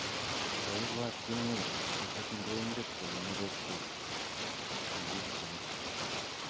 koibwat kimwei akot ngoinget kole nereksot sikikchin